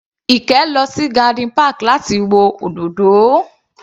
Ike lọ sí garden park láti wo òdòdó